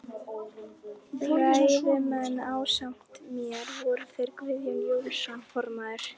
Ræðumenn ásamt mér voru þeir Guðjón Jónsson formaður